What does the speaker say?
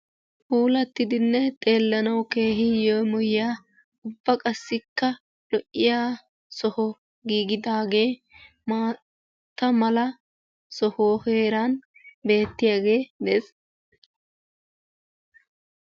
Puulattidinne xeellanawu keehi yeemoyiya ubba qassikka lo7iya soho giigidaagee maata mala soho heeran beettiyagee des.